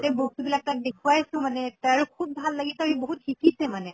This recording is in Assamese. তে বস্তু বিলাক তাক দেখোৱাইছো মানে খুব ভাল লাগিছে আৰু ই বহুত শিকিছে মানে